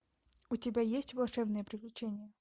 у тебя есть волшебные приключения